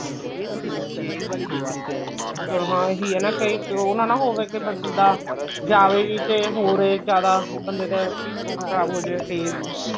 ਹਾਂ ਇਹੀ ਹੈ ਕਈ ਉਹ ਨਾ ਨਾ ਹੋਵੇ ਬੰਦਾ ਜਾਵੇ ਵੀ ਤੇ ਹੋਰ ਏ ਜਿਆਦਾ ਬੰਦੇ ਦਾ ਉਹ ਖ਼ਰਾਬ ਹੋ ਜਾਵੇ face